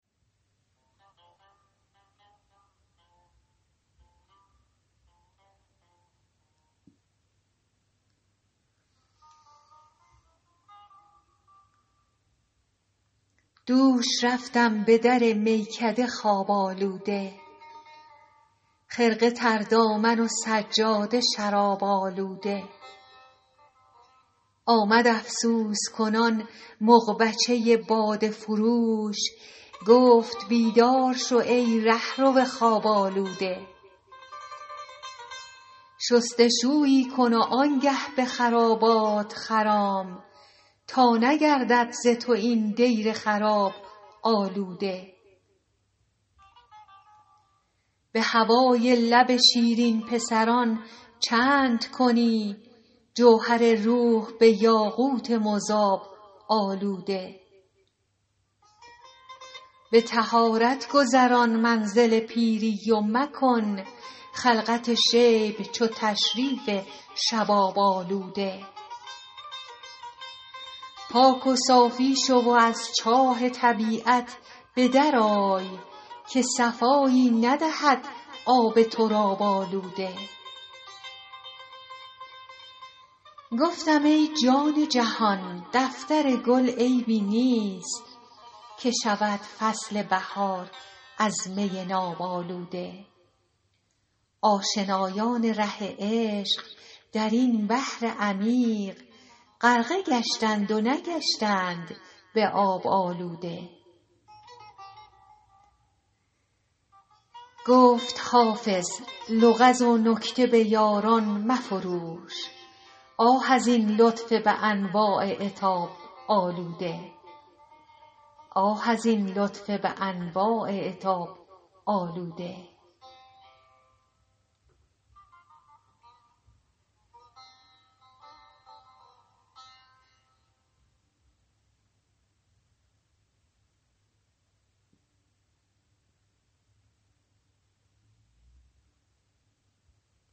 دوش رفتم به در میکده خواب آلوده خرقه تر دامن و سجاده شراب آلوده آمد افسوس کنان مغبچه باده فروش گفت بیدار شو ای رهرو خواب آلوده شست و شویی کن و آن گه به خرابات خرام تا نگردد ز تو این دیر خراب آلوده به هوای لب شیرین پسران چند کنی جوهر روح به یاقوت مذاب آلوده به طهارت گذران منزل پیری و مکن خلعت شیب چو تشریف شباب آلوده پاک و صافی شو و از چاه طبیعت به در آی که صفایی ندهد آب تراب آلوده گفتم ای جان جهان دفتر گل عیبی نیست که شود فصل بهار از می ناب آلوده آشنایان ره عشق در این بحر عمیق غرقه گشتند و نگشتند به آب آلوده گفت حافظ لغز و نکته به یاران مفروش آه از این لطف به انواع عتاب آلوده